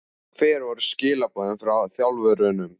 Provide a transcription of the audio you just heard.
Hver voru skilaboðin frá þjálfurunum?